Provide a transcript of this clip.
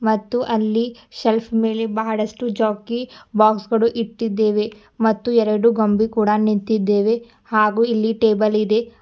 ಮತ್ತು ಅಲ್ಲಿ ಶೆಲ್ಫ್ ಮೇಲೆ ಬಹಳಷ್ಟು ಜಾಕಿ ಬಾಕ್ಸ್ ಗಳು ಇಟ್ಟಿದ್ದೇವೆ ಮತ್ತು ಎರಡು ಗೊಂಬೆ ಕೂಡ ನಿಂತಿದ್ದೆವೆ ಹಾಗೂ ಇಲ್ಲಿ ಟೇಬಲ್ ಇದೆ.